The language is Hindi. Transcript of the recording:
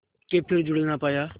के फिर जुड़ ना पाया